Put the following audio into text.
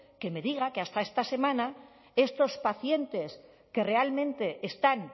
que me diga que hasta esta semana estos pacientes que realmente están